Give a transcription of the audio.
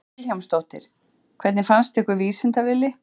Hödd Vilhjálmsdóttir: Hvernig fannst ykkur Vísinda-Villi?